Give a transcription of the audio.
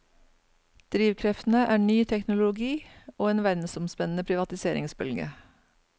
Drivkreftene er ny teknologi og en verdensomspennende privatiseringsbølge.